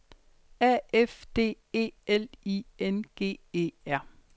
A F D E L I N G E R